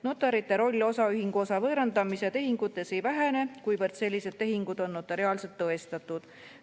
Notarite roll osaühingu osa võõrandamise tehingutes ei vähene, kuivõrd sellised tehingud on notariaalselt tõestatud.